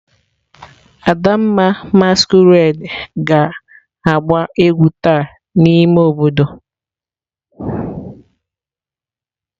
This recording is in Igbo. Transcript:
Adamma masquerade ga agba egwu taa n'ime obodo.